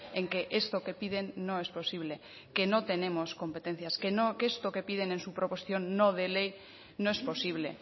en que esto que piden no es posible que no tenemos competencias que esto que piden en su proposición no de ley no es posible